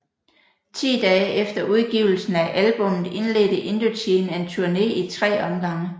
Ti dage efter udgivelsen af albummet indledte Indochine en turné i tre omgange